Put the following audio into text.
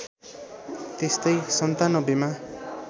त्यस्तै ९७ मा